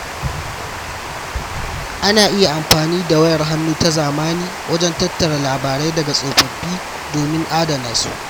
Ana iya amfani da wayar hannu ta zamani wajen tattara labarai daga tsofaffi domin adana su.